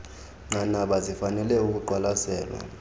nqanaba zifanele ukuqwalaselwa